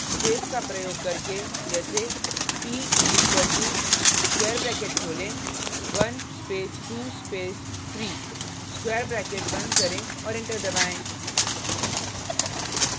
space का प्रयोग करके जैसे p is equal to square bracket खोलें 1 स्पेस 2 स्पेस 3 स्क्वायर ब्रैकेट बंद करें और एंटर दबाएँ